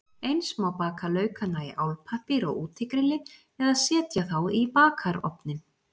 Eins má baka laukana í álpappír á útigrilli eða setja þá í bakarofninn.